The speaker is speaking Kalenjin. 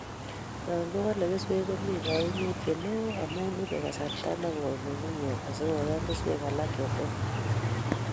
yankiwolei keswek, komii kaimutie neoo amun ibei kasarta nekooi nyung'unyek asikoyan keswek alak chetet